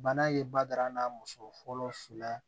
Bana ye badara n'a muso fɔlɔ si la